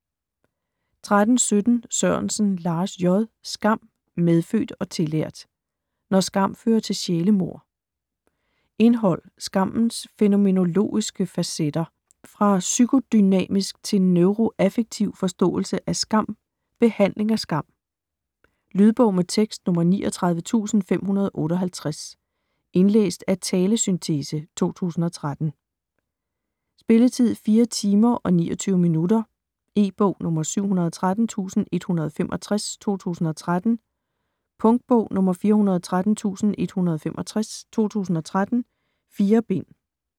13.17 Sørensen, Lars J.: Skam - medfødt og tillært: når skam fører til sjælemord Indhold: Skammens fænomenologiske facetter, Fra psykodynamisk til neuroaffektiv forståelse af skam, Behandling af skam. Lydbog med tekst 39558 Indlæst af talesyntese, 2013. Spilletid: 4 timer, 29 minutter. E-bog 713165 2013. Punktbog 413165 2013. 4 bind.